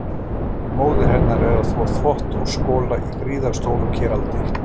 Móðir hennar er að þvo þvott og skola í gríðarstóru keraldi.